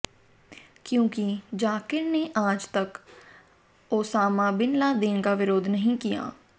क्योंकि जाकिर ने आज तक ओसामा बिन लादेन का विरोध नहीं किया